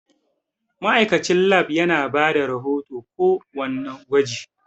Ma'aikatan Lab yana bada rahoton ko wanna gwaji